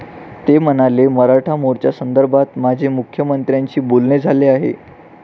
ते म्हणाले, मराठा मोर्चासंदर्भात माझे मुख्यमंत्र्यांशी बोलणे झाले आहे.